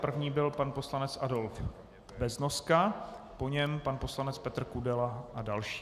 První byl pan poslanec Adolf Beznoska, po něm pan poslanec Petr Kudela a další.